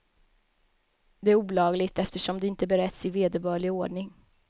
Det är olagligt, eftersom det inte beretts i vederbörlig ordning.